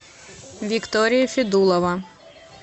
виктория федулова